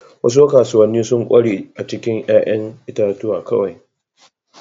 Wasu kasuwanni sun ƙware a cikin 'ya'yan itatuwa kawai.